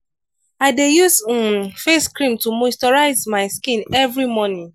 i dey use um face cream to moisturize my skin every morning.